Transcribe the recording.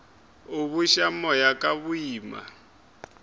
a buša moya ka boima